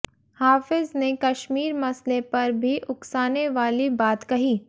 हाफिज ने कश्मीर मसले पर भी उकसाने वाली बात कही